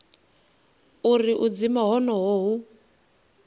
uri u dzima honoho hu